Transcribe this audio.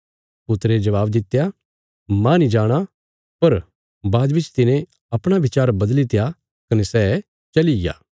पुत्रे जबाब दित्या माह नीं जाणा पर बाद बिच तिने अपणा बिचार बदलित्या कने सै चलिग्या